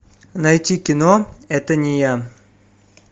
найти кино это не я